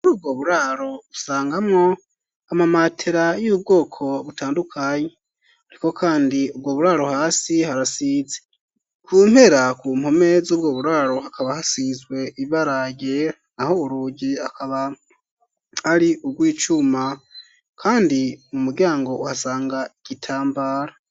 Uri ubwo buraro usangamwo amamatera y'ubwoko butandukanye, ariko, kandi ubwo buraro hasi harasize kumpera ku mpome z'ubwo buraro hakaba hasizwe ibarayea aho urugi akaba ari ubwo icuma, kandi mu muryango uhasangae gitambara.